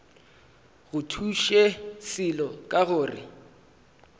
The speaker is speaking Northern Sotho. go thuše selo ka gore